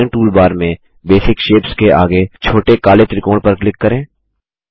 drawing toolbar में basic shapes के आगे छोटे काले त्रिकोण पर क्लिक करें